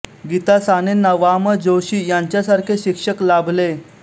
गीता सानेंना वा म जोशी यांच्यासारखे शिक्षक लाभले